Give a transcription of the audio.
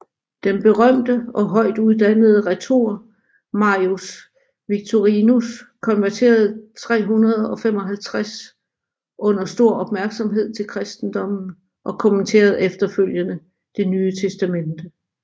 Den berømte og højtuddannede retor Marius Victorinus konverterede 355 under stor opmærksomhed til kristendommen og kommenterede efterfølgende Det Nye Testamente